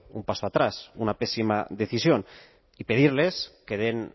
un paso atrás una pésima decisión y pedirles que den